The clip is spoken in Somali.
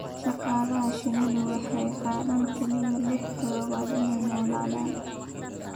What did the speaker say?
Shaqaalaha shinnidu waxay qaataan kaliya lix toddobaad inay noolaadaan.